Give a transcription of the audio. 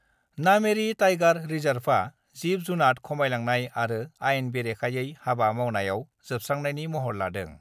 Nameri tiger रिजाभआ जिब-जुनात खमायलांनाय आरो आइन बेरेखायै हाबा मावनायाव जोबस्रांनायनि महर लादों